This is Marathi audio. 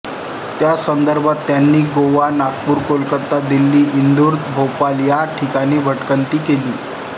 त्या संदर्भात त्यांनी गोवा नागपूर कोलकता दिल्ली इंदूर भोपाळ या ठिकाणी भटकंती केली